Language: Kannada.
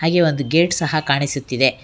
ಈ ಒಂದು ಗೇಟ್ ಸಹ ಕಾಣಿಸುತ್ತಿದೆ.